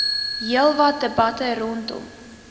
heelwat debatte rondom